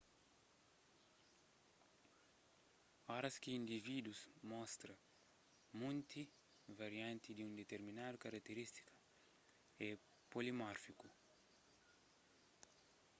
oras ki individus mostra monti varianti di un diterminadu karakteristika é polimórfiku